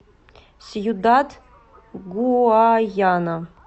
сьюдад гуаяна